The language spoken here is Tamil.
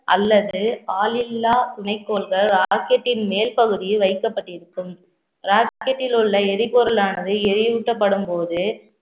அல்லது ஆளில்லா துணைக்கோள்கள் rocket டின் மேல் பகுதியில் வைக்கப்பட்டிருக்கும் rocket டில் உள்ள எரிபொருளானது எரியூட்டப்படும் போது